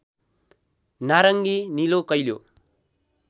नारङी नीलो कैलो